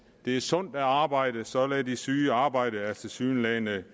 det er sundt at arbejde så lad de syge arbejde er tilsyneladende